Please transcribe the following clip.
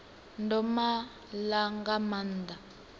ndo ma ḽa nga maanḓa